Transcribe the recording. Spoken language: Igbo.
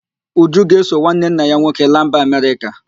Uju ga-eso nwanne nna ya nwoke laa mba Amerịka